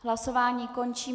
Hlasování končím.